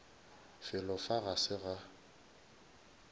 felo fa ga se ga